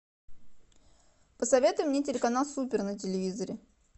посоветуй мне телеканал супер на телевизоре